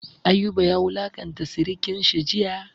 Ayuba ya wulanƙanta sirikan shi jiya.